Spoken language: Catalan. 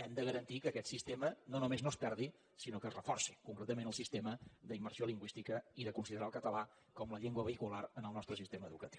hem de garantir que aquest sistema no només no es perdi sinó que es reforci concretament el sistema d’immersió lingüística i de considerar el català com la llengua vehicular en el nostre sistema educatiu